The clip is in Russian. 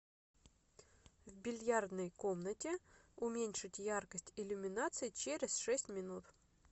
в бильярдной комнате уменьшить яркость иллюминации через шесть минут